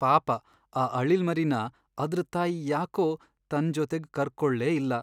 ಪಾಪ ಆ ಅಳಿಲ್ಮರಿನ ಅದ್ರ್ ತಾಯಿ ಯಾಕೋ ತನ್ ಜೊತೆಗ್ ಕರ್ಕೊಳ್ಲೇ ಇಲ್ಲ.